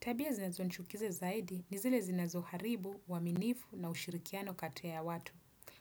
Tabia zinazonichukizia zaidi ni zile zinazo haribu, uaminifu na ushirikiano kati ya watu.